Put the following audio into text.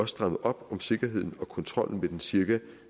strammet op om sikkerheden og kontrollen ved den cirka